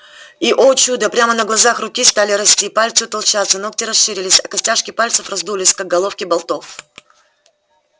и о чудо прямо на глазах руки стали расти пальцы утолщаться ногти расширились а костяшки пальцев раздулись как головки болтов